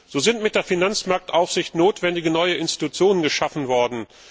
So sind mit der Finanzmarktaufsicht notwendige neue Institutionen geschaffen worden.